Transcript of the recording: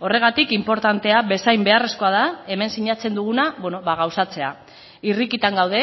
horregatik inportantea bezain beharrezkoa da hemen sinatzen duguna gauzatzea irrikitan gaude